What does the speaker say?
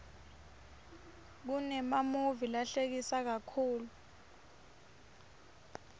kunemamuvi lahlekisa kakhulu